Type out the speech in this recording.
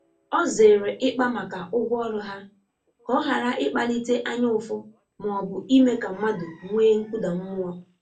Ọ zere ịkpa maka ụgwọ ọrụ ha, ka ọ ghara ịkpalite anya ụfụ ma ọ bụ ime ka mmadụ nwee nkụda mmụọ.